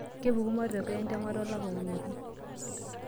Kepuku matokeo entemata elaapa olotu.